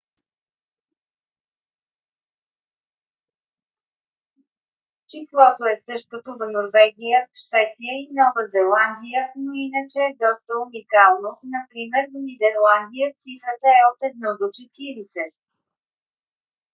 числото е същото в норвегия швеция и нова зеландия но иначе е доста уникално например в нидерландия цифрата е от 1 до 40